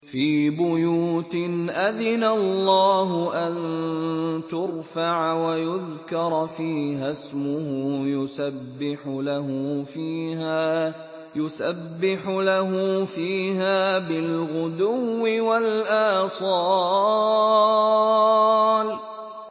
فِي بُيُوتٍ أَذِنَ اللَّهُ أَن تُرْفَعَ وَيُذْكَرَ فِيهَا اسْمُهُ يُسَبِّحُ لَهُ فِيهَا بِالْغُدُوِّ وَالْآصَالِ